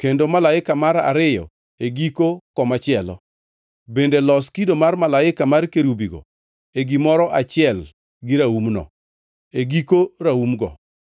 kendo malaika mar ariyo e giko komachielo; bende los kido mar malaika mar kerubigo e gimoro achiel gi raumno, e giko raumgo.